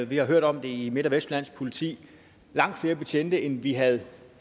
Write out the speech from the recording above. vi har hørt om det i midt og vestjyllands politi langt flere betjente end vi havde